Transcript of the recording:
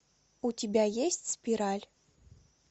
у тебя есть спираль